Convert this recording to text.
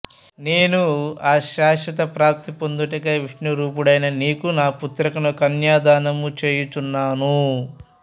నేనూ ఆ శాశ్వత ప్రాప్తి పొందుటకై విష్ణురూపుడైన నీకు నా పుత్రికను కన్యాదానము చేయుచున్నాను